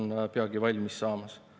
Mitte seepärast, et ma oleksin pahatahtlik.